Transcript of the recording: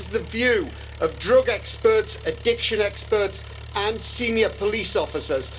This is the view of drug experts, addiction experts, and senior police officers.